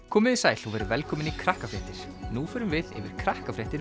komiði sæl og verið velkomin í Krakkafréttir nú förum við yfir